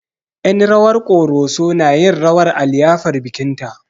Yen rawar ƙoroso na yin rawar a liyafar bikin ta